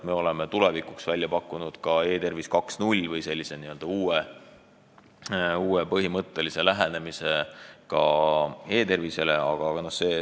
Me oleme tulevikuks välja pakkunud ka e-tervise 2.0 või uue põhimõttelise lähenemise e-tervisele.